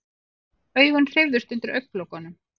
Augun hreyfðust undir augnalokunum.